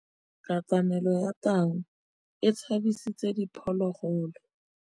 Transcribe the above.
Katamêlô ya tau e tshabisitse diphôlôgôlô.